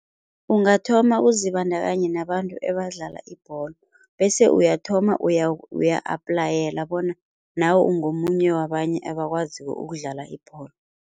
Ungathoma uzibandakanye nabantu ebadlala ibholo bese uyathoma uya-applyela bona nawe ungomunye wabanye abakwaziko ukudlala ibholo.